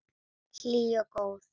Hlý og góð.